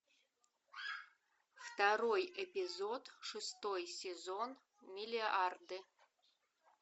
второй эпизод шестой сезон миллиарды